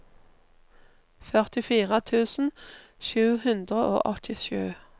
førtifire tusen sju hundre og åttisju